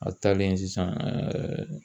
A taalen sisan